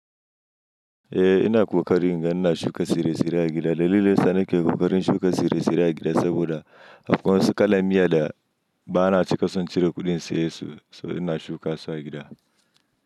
Eh ina ƙoƙarin, inga ina shuka tsire-tsire a gida. Dalilai sa na ke ƙoƙarin shuka tsire-tsire a gida saboda afƙon wasu ƙalamiya da ba na cika sun cire kuɗin saye su, so ina shuka su a gida.